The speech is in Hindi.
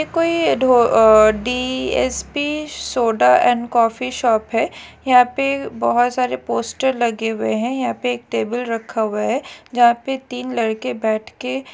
ये कोई ढो अह D S P soda and coffee shop है यहा पे बहोत सारे पोस्टर लगे हुए है यहा पे एक टेबल रखा हुआ है जहा पे तीन लड़के बैठके--